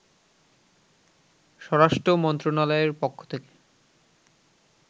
স্বরাষ্ট্র মন্ত্রনালয়ের পক্ষ থেকে